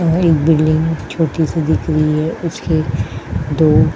और एक बिल्डिंग है छोटी-सी दिख रही है। उसके दो --